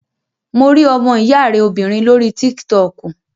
Mo rí ọmọ ìyá rẹ obìnrin lórí tík-tọkù